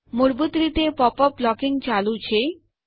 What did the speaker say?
મૂળભૂત રીતે pop up blocking ચાલુ છે